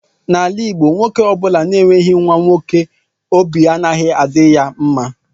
N'ala igbo nwoke ọbula na-enweghi nwa nwoke óbị anaghị adị ya mma.